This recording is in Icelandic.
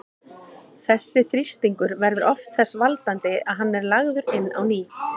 Þessi þrýstingur verður oft þess valdandi að hann er lagður inn á ný.